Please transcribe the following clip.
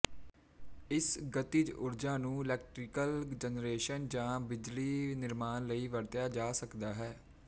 ਇਸ ਗਤਿਜ ਊਰਜਾ ਨੂੰ ਇਲੈਕਟ੍ਰੀਕਲ ਜਨਰੇਸ਼ਨ ਜਾਂ ਬਿਜਲਈ ਨਿਰਮਾਣ ਲਈ ਵਰਤਿਆ ਜਾ ਸਕਦਾ ਹੈ